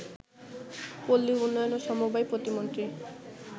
পল্লীউন্নয়ন ও সমবায় প্রতিমন্ত্রী